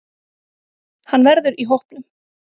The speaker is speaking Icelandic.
Hann verður í hópnum.